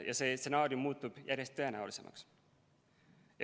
Ja see stsenaarium muutub järjest tõenäolisemaks.